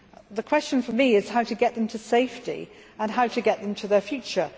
The question for me is how to get them to safety and how to get them to their future.